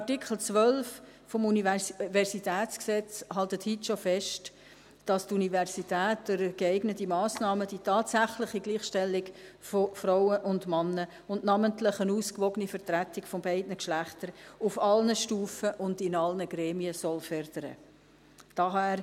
Artikel 12 UniG hält schon heute fest, dass die Universität durch geeignete Massnahmen die tatsächliche Gleichstellung von Frauen und Männern, und namentlich eine ausgewogene Vertretung beider Geschlechter, auf allen Stufen und in allen Gremien fördern soll.